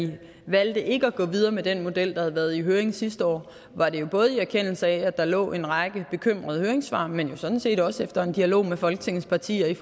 vi valgte ikke at gå videre med den model der havde været i høring sidste år var det jo både i erkendelse af at der lå en række bekymrede høringssvar men sådan set også efter en dialog med folketingets partier